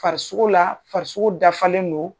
Farisoko la, farisoko dafalen do.